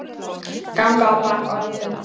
ganga á bak orða sinna